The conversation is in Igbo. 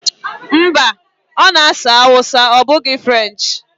Mba, ọ na-asụ Hausa ọ bụghị French